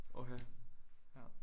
Okay ja